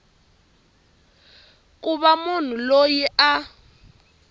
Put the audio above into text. ku va munhu loyi a